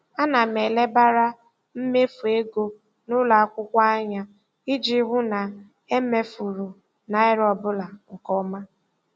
Ana m elebara mmefu ego ụlọakwụkwọ anya iji hụ na e mefuru naira ọbụla nke ọma.